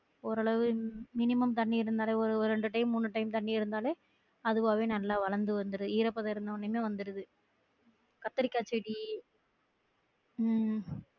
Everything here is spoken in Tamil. ஓரளவு minimum தண்ணி இருந்தாலே அஹ் ரெண்டு time மூணு time தண்ணி இருந்தாலே அதுவாவே நல்லா வளர்ந்து வந்துரும் ஈரப்பதம் இருந்தவுடனேமே வந்துருது கத்தரிக்காய் செடி உம்